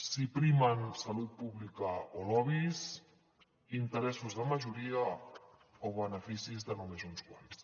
si primen salut pública o lobbys interessos de majoria o beneficis de només uns quants